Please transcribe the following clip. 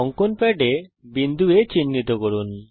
অঙ্কন প্যাডে বিন্দু A চিহ্নিত করুন